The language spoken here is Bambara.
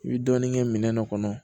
I bi dɔɔnin kɛ minɛn dɔ kɔnɔ